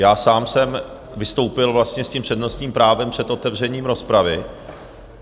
Já sám jsem vystoupil vlastně s tím přednostním právem před otevřením rozpravy.